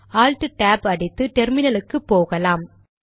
alt tab tab அடித்து டெர்மினலுக்கு போகலாம்